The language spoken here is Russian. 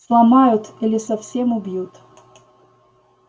сломают или совсем убьют